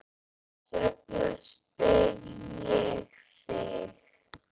Þess vegna spyr ég þig.